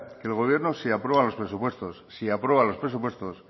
que el gobierno si aprueba los presupuestos